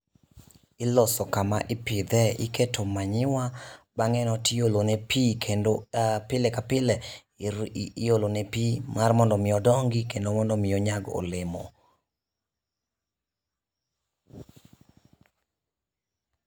Iloso kama ipidhe, iketo manyuwa bang'e no tiolo ne pii kendo pile ka pile iolo ne pii mar mondo mi dongi kendo mondo mi onyag olemo